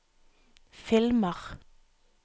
filmer